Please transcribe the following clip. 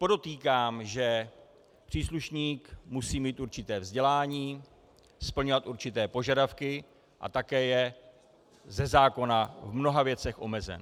Podotýkám, že příslušník musí mít určité vzdělání, splňovat určité požadavky a také je ze zákona v mnoha věcech omezen.